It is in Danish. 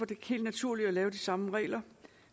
det helt naturligt at lave de samme regler